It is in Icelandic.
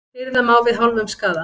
Hirða má við hálfum skaða.